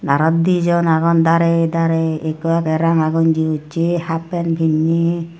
aro dijon agon dare dare ekku age ranga gonji hussy happen pinnay.